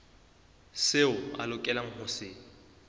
seo a lokelang ho se